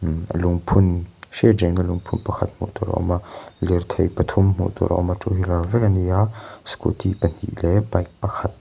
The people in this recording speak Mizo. lungphun hriat reng na lungphun pakhat hmuh tur a awm a lirthei pathum hmuh tur a awm a two wheeler vek ani a scooty pahnih leh bike pakhat--